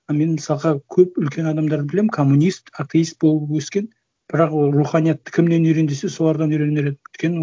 ал мен мысалға көп үлкен адамдарды білемін коммунист атеист болып өскен бірақ ол руханиятты кімнен үйрен десе солардан үйренер едім өйткені